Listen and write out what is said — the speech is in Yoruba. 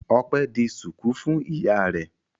Ọpẹ́ di ṣùkú fún ìyá rẹ̀.